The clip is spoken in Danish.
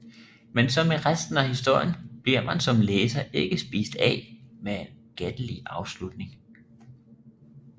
Men som i resten af historien bliver man som læser ikke spist af med en gættelig afslutning